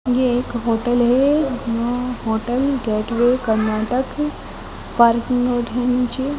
ये एक होटल है अं hotel Gateway Karnataka parking note है नीचे--